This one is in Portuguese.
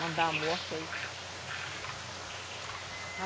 Manda a morte aí.